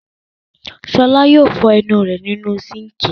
Ṣọlá yóò fọ ú rẹ̀ nínú síńkì..